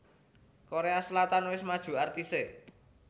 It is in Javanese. Korea Selatan wis maju artise